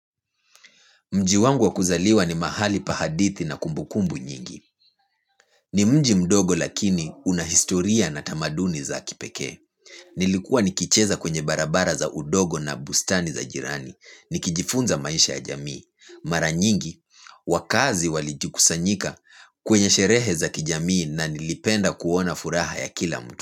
Mji wangu wa kuzaliwa ni mahali pa hadithi na kumbukumbu nyingi. Ni mji mdogo lakini una historia na tamaduni za kipeke. Nilikuwa nikicheza kwenye barabara za udogo na bustani za jirani. Nikijifunza maisha ya jamii. Mara nyingi, wakaazi walijukusanyika kwenye sherehe za kijamii na nilipenda kuona furaha ya kila mtu.